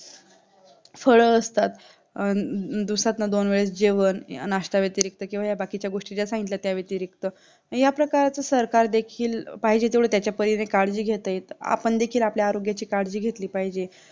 फळ असतात दिवसंतन दोन वेळा दिवसातनं दोन वेळेस जेवण नाष्टा व्यतिरिक्त किंवा बाकीच्या गोष्टी ज्या सांगितल्या त्याव्यतिरिक्त आणि आपल्या काळच सरकार देखील पाहिजे तेवढा त्याच परीने काळजी घेता येत आपण देखी आपण आपली आरोग्याची काळजी घेतली पाहिजे